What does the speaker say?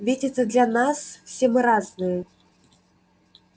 ведь это для нас все мы разные